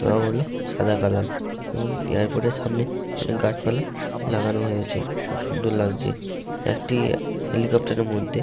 রং হলো সাদা কালার এবং এ্যারপট এর সামনে অনেক গাছপালা লাগানো হয়েছে খুব সুন্দর লাগছে একটি হেলিকোপটার এর মধ্যে--